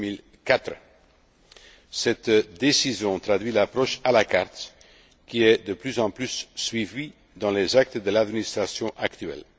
constitution de 2004. Cette décision traduit l'approche à la carte qui est de plus en plus suivie dans les actes de l'administration